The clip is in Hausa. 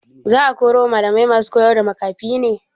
Za a ƙaro malamai masu koyarda makafi ne?